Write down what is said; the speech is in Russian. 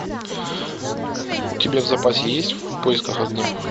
у тебя в запасе есть в поисках огня